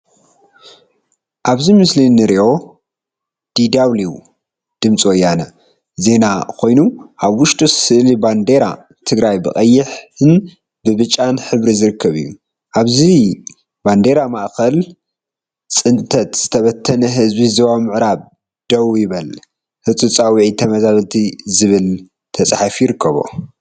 አብዚ ምስሊ እንሪኦ ዲዳውሊው /ድምፂ ወያነ/ ዜና ኮይኑ አብ ውሽጡ ስእሊ ባንዴራ ትግራይ ብቀይሕን ብጫን ሕብሪ ዝርከብ እዩ፡፡ አብዚ ባንዴራ ማእከል “ፅንተት ዝተበተነ ህዝቢ ዞባ ምዕራብ ደው ይበል” ፣ ህፁፅ ፃውዒት ተመዛበልቲ ዝብል ተፃሒፉ ይርከብ፡፡